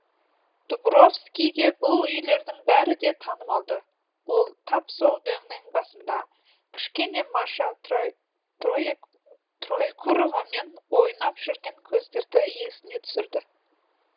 дубровскийге бұл үйлердің бәрі де танымалды ол тап сол дөңнің басында кішкене маша троекуровамен ойнап жүрген кездерді есіне түсірді